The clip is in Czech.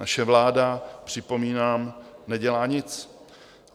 Naše vláda, připomínám, nedělá nic.